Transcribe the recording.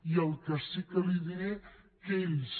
i el que sí que li diré és que ells